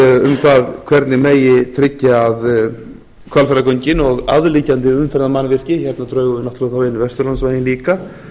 um það hvernig megi tryggja að hvalfjarðargöngin og aðliggjandi umferðarmannvirki hérna drögum við náttúrlega þá inn vesturlandsveginn líka þó